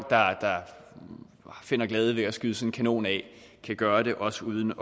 der finder glæde ved at skyde sådan en kanon af kan gøre det også uden